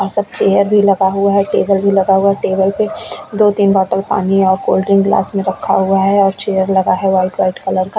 सब चेयर भी लगा हुआ है टेबल भी लगा हुआ है टेबल पे दो-तीन बोतल पानी और कोल्डिंग ग्लास में रखा हुआ है और चेयर लगा है वाइट वाइट कलर का --